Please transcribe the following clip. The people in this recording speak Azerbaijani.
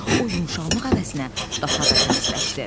O yumşalmaq əvəzinə daha da tərsləşdi.